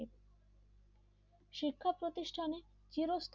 শিক্ষা প্রতিষ্ঠানে চিরস্থায়ী